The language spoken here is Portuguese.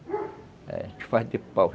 A gente faz de pau.